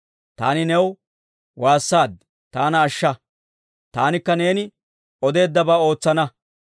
Taani new waassaad; taana ashsha; taanikka neeni odeeddabaa ootsana.